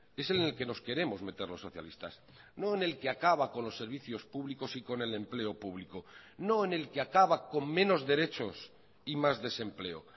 es en el que nos queremos meter los socialistas no en el que acaba con los servicios públicos y con el empleo público no en el que acaba con menos derechos y más desempleo